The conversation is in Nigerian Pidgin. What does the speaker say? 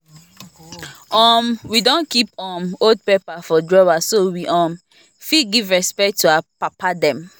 um we don keep um old paper for drawer so we um fit give respect to our papa dem